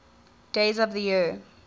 days of the year